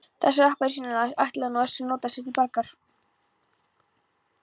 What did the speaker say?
Þessa appelsínást ætlaði nú Össur að nota sér til bjargar.